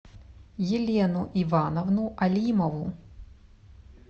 елену ивановну алимову